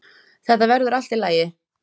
Þetta verður allt í lagi